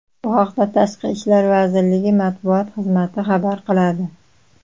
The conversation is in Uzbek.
Bu haqda Tashqi ishlar vazirligi matbuot xizmati xabar qiladi .